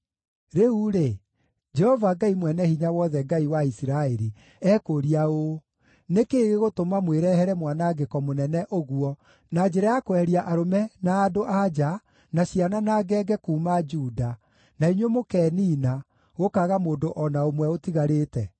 “Rĩu-rĩ, Jehova Ngai Mwene-Hinya-Wothe, Ngai wa Isiraeli, ekũũria ũũ: Nĩ kĩĩ gĩgũtũma mwĩrehere mwanangĩko mũnene ũguo na njĩra ya kweheria arũme na andũ-a-nja, na ciana na ngenge kuuma Juda, na inyuĩ mũkeniina, gũkaaga mũndũ o na ũmwe ũtigarĩte?